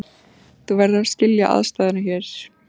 Þú verður að skilja aðstæðurnar hér.